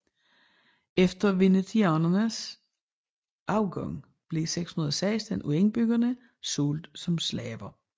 Efter venetianernes afgang blev 616 af indbyggerne solgt som slaver